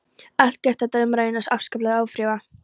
Allt gerði þetta umræðuna afskaplega ófrjóa.